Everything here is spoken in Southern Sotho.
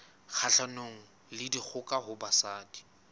kgahlanong le dikgoka ho basadi